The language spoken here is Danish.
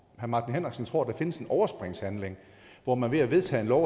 herre martin henriksen tror der findes en overspringshandling hvor man ved at vedtage en lov